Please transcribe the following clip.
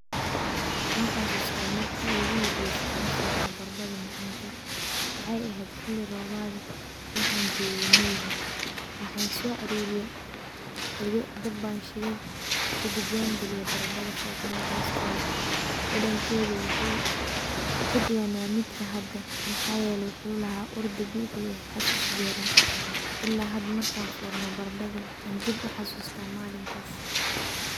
Waan xasusta marki igu horeyse aan foorno baradhada macanka waxay ahayd xili roobaad ee waxaan jooge miyiga waxaan so aruriye qoryo dabaan shide kadib waan galiye baradhada foornada hosteeda dadankeeda waxu kaduwanaa mida hada maxaa yeele waxuu laha ur dabiici ah iyo xasus deeran ila hada markan foorno baradhada waxaan dib u xasusta malinkas.